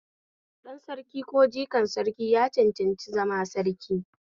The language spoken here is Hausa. Ɗan Sarki ko jikan Sarki ya cancanci zama Sarki